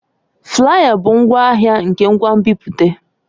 Flaya bụ ngwaahịa nke ngwa nbipute.